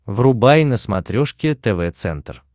врубай на смотрешке тв центр